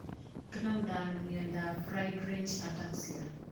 Kinamdoi ano miondap friedreich ataxia